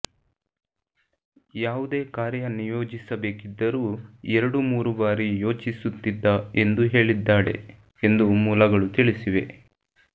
ಯಾವುದೇ ಕಾರ್ಯ ನಿಯೋಜಿಸಬೇಕಿದ್ದರೂ ಎರಡು ಮೂರು ಬಾರಿ ಯೋಚಿಸುತ್ತಿದ್ದ ಎಂದು ಹೇಳಿದ್ದಾಳೆ ಎಂದು ಮೂಲಗಳು ತಿಳಿಸಿವೆ